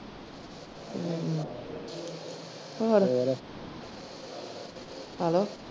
ਹਮ ਹੋਰ hello.